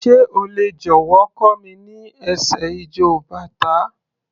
Sé o lè jọ̀wọ́ kọ́ mi ní ẹsẹ̀ ijó bàtá?